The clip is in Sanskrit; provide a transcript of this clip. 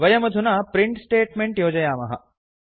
वयमधुना प्रिंट् स्टेट्मेंट् योजयामः